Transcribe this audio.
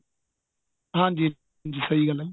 ਹਾਂਜੀ ਸਹੀਂ ਗੱਲ ਏ ਜੀ